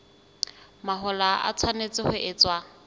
mahola e tshwanetse ho etswa